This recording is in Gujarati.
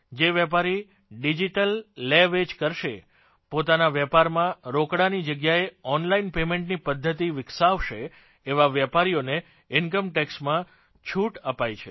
જે વેપારી ડિજીટલ લેવેચ કરશે પોતાના વેપારમાં રોકડાની જગ્યાએ ઓનલાઇન પેમેન્ટની પધ્ધતિ વિકસાવશે એવા વેપારીઓને ઇનકમટેક્ષમાં છૂટ અપાઇ છે